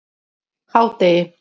hádegi